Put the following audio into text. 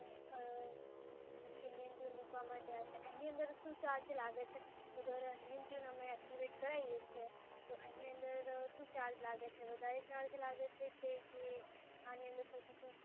કેમ કે name tune મૂકવા માટે આ છે, એની અંદર શું ચાર્જ લાગે છે અગર name tune અમે એક્ટિવેટ કરાવીએ છીએ તો એની અંદર શું ચાર્જ લાગે વધારે ચાર્જ લાગે છે જે આની અંદર fourty two